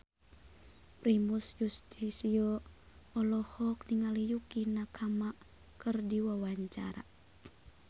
Primus Yustisio olohok ningali Yukie Nakama keur diwawancara